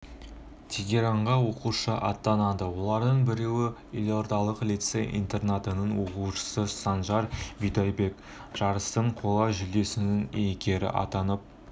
тегеранға оқушы аттанады олардың біреуі елордалық лицей-интернатының оқушысы санжар бидайбек жарыстың қола жүлдесінің иегері атанып